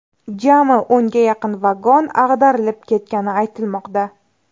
Jami o‘nga yaqin vagon ag‘darilib ketgani aytilmoqda.